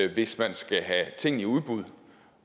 hvis man skal have ting i udbud